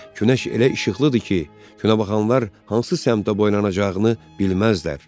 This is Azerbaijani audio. Günəş elə işıqlıdır ki, günəbaxanlar hansı səmtdə boylanacağını bilməzlər.